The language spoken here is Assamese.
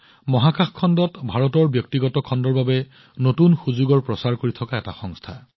মহাকাশ খণ্ডত ভাৰতৰ ব্যক্তিগত খণ্ডৰ বাবে নতুন সুযোগৰ প্ৰচাৰ কৰি থকা ই এক সংস্থা